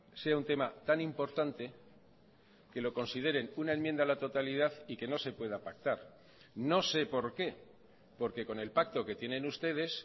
sea un tema tan importante que lo consideren una enmienda a la totalidad y que no se pueda pactar no sé por qué porque con el pacto que tienen ustedes